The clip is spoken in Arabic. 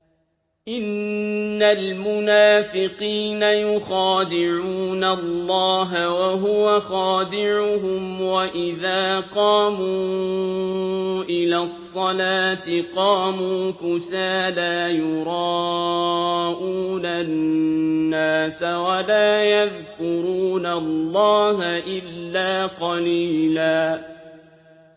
إِنَّ الْمُنَافِقِينَ يُخَادِعُونَ اللَّهَ وَهُوَ خَادِعُهُمْ وَإِذَا قَامُوا إِلَى الصَّلَاةِ قَامُوا كُسَالَىٰ يُرَاءُونَ النَّاسَ وَلَا يَذْكُرُونَ اللَّهَ إِلَّا قَلِيلًا